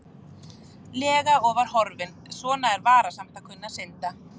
lega og var horfinn, svona er varasamt að kunna að synda.